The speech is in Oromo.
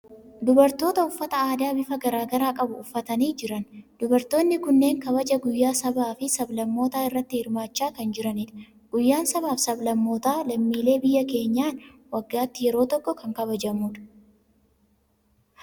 Dubartoota uffata aadaa bifa garaa garaa qabu uffatanii jiran. Dubartoonni kunneen kabaja guyyaa sabaa fi sab-lammootaa irratti hirmaachaa kan jiranidha. Guyyaan sabaa fi sab-lammootaa lammiilee biyya keenyaan waggaatti yeroo tokko kan kabajamudha.